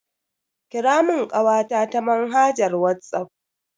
Kira mun kawata ta manhajar Whatsapp.